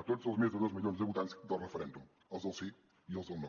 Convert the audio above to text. a tots els més de dos milions de votants del referèndum als del sí i als del no